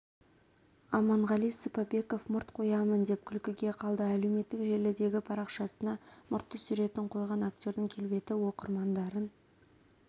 аманғали сыпабеков мұрт қоямын деп күлкіге қалды әлеуметтік желідегі парақшасына мұртты суретін қойған актердің келбеті оқырмандарын